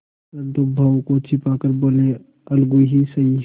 परंतु भावों को छिपा कर बोलेअलगू ही सही